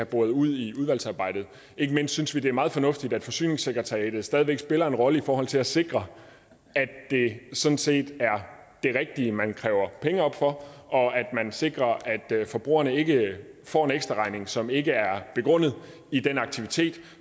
boret ud i udvalgsarbejdet ikke mindst synes vi det er meget fornuftigt at forsyningssekretariatet stadig væk spiller en rolle i forhold til at sikre at det sådan set er det rigtige man kræver penge op for og sikre at forbrugerne ikke får en ekstraregning som ikke er begrundet i den aktivitet